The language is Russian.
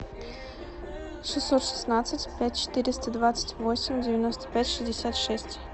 шестьсот шестнадцать пять четыреста двадцать восемь девяносто пять шестьдесят шесть